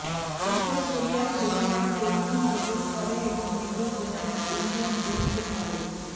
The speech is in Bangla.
উত্তর কোরিয়ার সৈন্যরা টেইজোন প্রবেশ করে এবং মেজর জেনারেল উইলিয়াম ডিনকে ধরেন